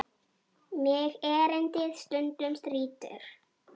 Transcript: Mig erindið stundum þrýtur.